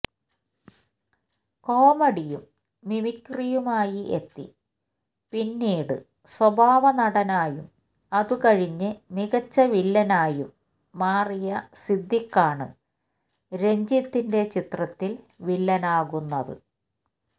കോമഡിയും മിമിക്രിയുമായി എത്തി പിന്നീട് സ്വഭാവനടനായും അതുകഴിഞ്ഞ് മികച്ച വില്ലനായും മാറിയ സിദ്ദിഖാണ് രഞ്ജിത്തിന്റെ ചിത്രത്തില് വില്ലനാകുന്നത്